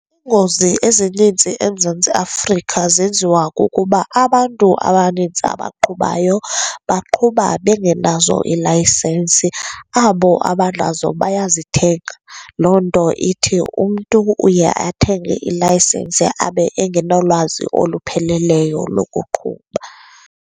Iingozi ezininzi eMzantsi Afrika zenziwa kukuba abantu abanintsi abaqhubayo baqhuba bengenazo iilayisensi. Abo abanazo bayazithenga. Loo nto ithi umntu uye athenge ilayisensi abe engenalwazi olupheleleyo lokuqhuba.